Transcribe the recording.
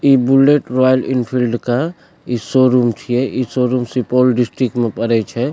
इ Bullet Royal Enfield के इ शोरूम छिये इ शोरूम सुपौल डिसट्रिक्ट मे पड़े छै।